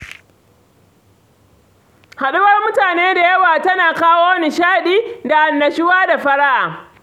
Haɗuwar mutane da yawa tana kawo nishaɗi, da annashuwa da fara'a.